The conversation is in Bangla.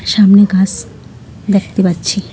সামনে গাস দেখতে পাচ্ছি।